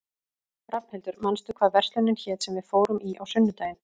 Rafnhildur, manstu hvað verslunin hét sem við fórum í á sunnudaginn?